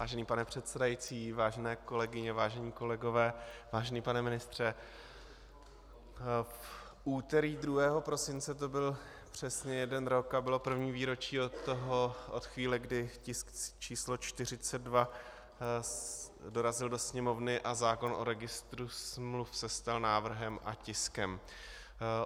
Vážený pane předsedající, vážené kolegyně, vážení kolegové, vážený pane ministře, v úterý 2. prosince to byl přesně jeden rok a bylo první výročí od chvíle, kdy tisk číslo 42 dorazil do Sněmovny a zákon o registru smluv se stal návrhem a tiskem.